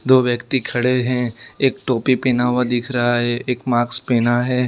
दो व्यक्ति खड़े हैं एक टोपी पहना हुआ दिख रहा है एक माक्स पहना है।